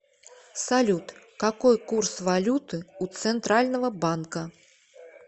салют какой курс валюты у центрального банка